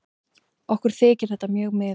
Okkur þykir þetta mjög miður.